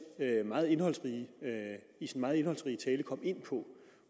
meget indholdsrige tale kom ind på